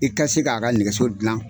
I ka se k'a ka nɛgɛso dilan.